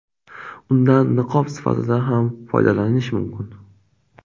Undan niqob sifatida ham foydalanish mumkin.